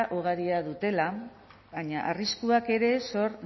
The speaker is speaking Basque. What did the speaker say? ugariak dutela baina arriskuak ere sor